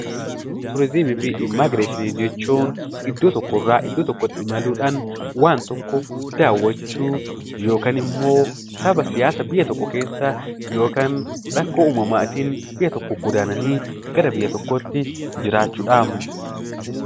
Geejjiba, turizimii fi immigireeshinii jechuun iddoo tokkoo irraa iddoo tokkotti imaluudhaan waan tokko daawwachuu yookiin immoo saba siyaasa biyya tokko keessaa yookiin immoo rakkoo uumamaatiin biyya tokkoo godaananii gara biyya tokkootti godaanuun jiraachuudha.